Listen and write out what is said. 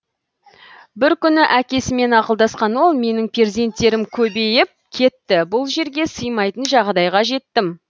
бір күні әкесімен ақылдасқан ол менің перзенттерім көбейіп кетті бұл жерге сыймайтын жағдайға жеттім